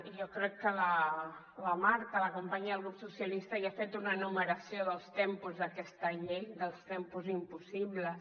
i jo crec que la marta la companya del grup socialista ja ha fet una enumeració dels tempos d’aquesta llei dels tempos impossibles